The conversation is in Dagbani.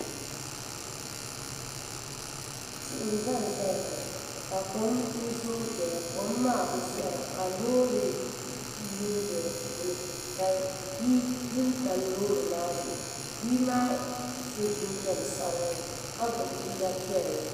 tihi nyɛ ʒɛnʒɛya ŋɔ ka kom zooi doya kom maa bi zɔra ka loori lu n do di puuni ka bia du n tam loori maa zuɣu bia maa so jinjɛm sabinli ka gbubi liiga piɛlli